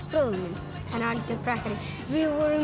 bróðir minn hann er algjör prakkari við vorum